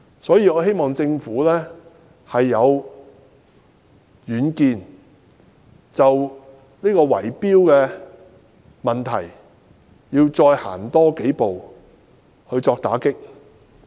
所以，我希望政府能有遠見，就圍標問題要再多走幾步，以作打擊。